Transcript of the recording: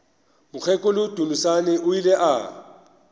mokgekolo dunusani o ile a